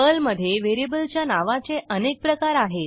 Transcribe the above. पर्लमधे व्हेरिएबलच्या नावाचे अनेक प्रकार आहेत